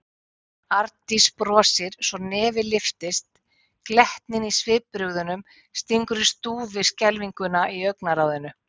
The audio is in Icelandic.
Arndís brosir svo nefið lyftist, glettnin í svipbrigðunum stingur í stúf við skelfinguna í augnaráðinu.